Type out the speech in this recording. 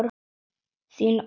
Þín Ólöf Bára.